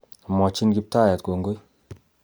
Omwochin kiptayat kongoi